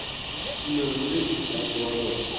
tumelo pele ba tseba gore